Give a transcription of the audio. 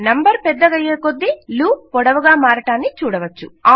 number పెద్దగయ్యే కొద్దీ loop పొడవుగా మారడాన్ని చూడవచ్చు